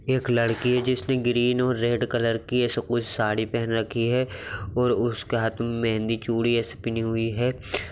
एक लड़की है जिसने ग्रीन और रेड कलर की ऐसा कुछ साड़ी पहन रखी है और उसके हाथ मे मेहंदी चुरी ऐसे पीनीह हुई है।